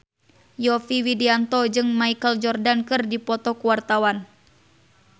Yovie Widianto jeung Michael Jordan keur dipoto ku wartawan